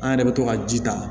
An yɛrɛ bɛ to ka ji ta